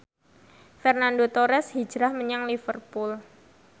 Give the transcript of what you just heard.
Fernando Torres hijrah menyang Liverpool